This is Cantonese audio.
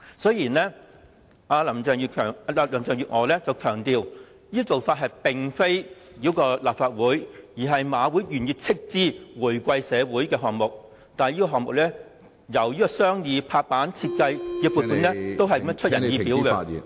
雖然林鄭月娥強調，這做法並非繞過立法會，而是香港賽馬會願意斥資回饋社會。但是，這個項目由商議、落實、設計的撥款都是出人意表......